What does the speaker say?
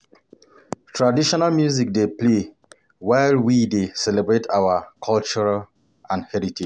Traditional music dey play while we dey celebrate our culture and heritage.